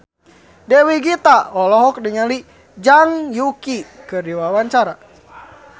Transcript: Dewi Gita olohok ningali Zhang Yuqi keur diwawancara